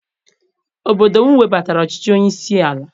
Obodo m webatara ọchịchị onye isi ala.